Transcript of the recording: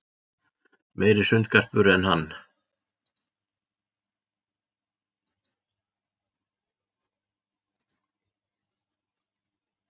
Meiri sundgarpur en hann.